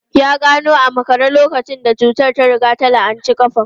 Ya gano a makare lokacin da cutar ta riga ta la'anci kafa.